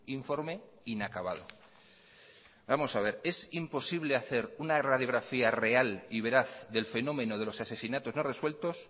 informe inacabado vamos a ver es imposible hacer una radiografía real y veraz del fenómeno de los asesinatos no resueltos